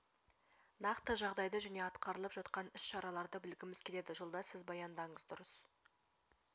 нақты жағдайды және атқарылып жатқан іс-шараларды білгіміз келеді жолдас сіз баяндаңыз дұрыс